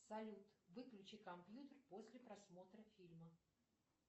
салют выключи компьютер после просмотра фильма